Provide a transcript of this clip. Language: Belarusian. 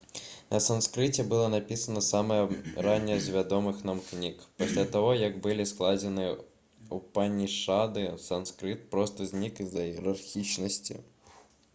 на санскрыце была напісана самая ранняя з вядомых нам кніг пасля таго як былі складзены упанішады санскрыт проста знік з-за іерархічнасці